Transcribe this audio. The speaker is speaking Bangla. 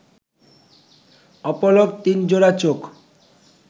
অপলক তিনজোড়া চোখ